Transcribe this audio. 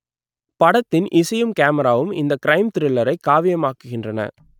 படத்தின் இசையும் கேமராவும் இந்த க்ரைம் த்ரில்லரை காவியமாக்குகின்றன